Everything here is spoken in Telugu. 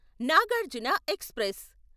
నాగార్జున ఎక్స్ప్రెస్